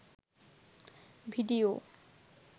video